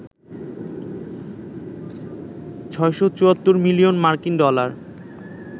৬৭৪ million মার্কিন dollar